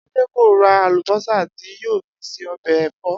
Adé kò ra àlùbó̩sà tí yóò fi se o̩bè̩ è̩fó